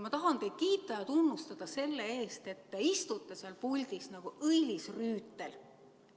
Ma tahan teid kiita ja tunnustada selle eest, et te istute seal puldis nagu õilis rüütel.